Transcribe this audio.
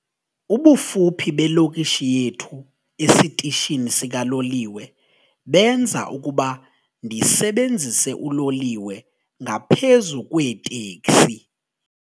Ubufuphi belokishi yethu esitishini sikaloliwe benza ukuba ndisebenzise uloliwe ngaphezu kweeteksi.